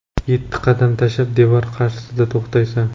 Yetti qadam tashab, devor qarshisida to‘xtaysan.